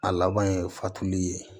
A laban ye fatuli ye